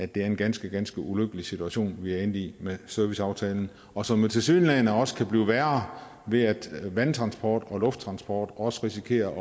det er en ganske ganske ulykkelig situation vi er endt i med serviceaftalen og som tilsyneladende også kan blive værre ved at vandtransport og lufttransport også risikerer